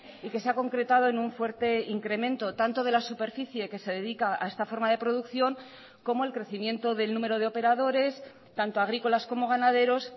y que se ha concretado en un fuerte incremento tanto de la superficie que se dedica a esta forma de producción como el crecimiento del número de operadores tanto agrícolas como ganaderos